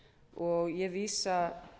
og ég vísa